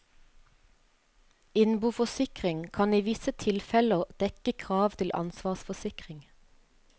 Innboforsikring kan i visse tilfeller dekke kravet til ansvarsforsikring.